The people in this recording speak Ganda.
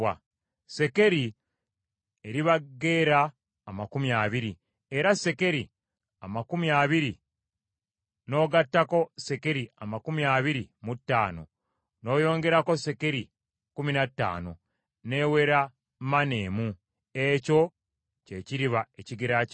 Sekeri eriba gera amakumi abiri, era sekeri amakumi abiri n’ogattako sekeri amakumi abiri mu ttaano, n’oyongerako sekeri kkumi na ttaano, n’ewera maane emu, ekyo kye kiriba ekigera kyammwe.